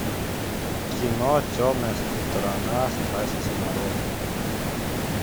кино темная сторона страсти нарой